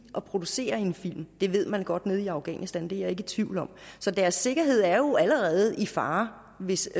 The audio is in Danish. at producere en film det ved man godt nede i afghanistan det er jeg ikke i tvivl om så deres sikkerhed er jo allerede i fare hvis